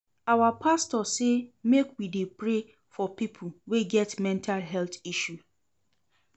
Our pastor sey make we dey pray for pipo wey get mental health issue.